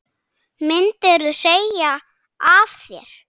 Myndirðu segja af þér?